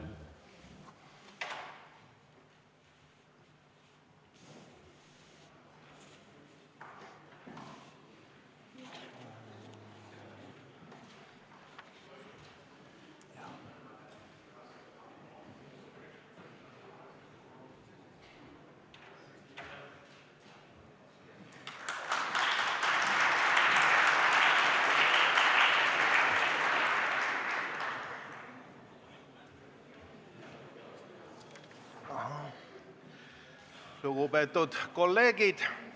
Lugupeetud kolleegid!